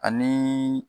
Ani